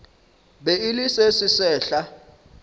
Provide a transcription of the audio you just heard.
be e le se sesehla